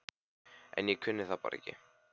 En ég kunni það bara ekki.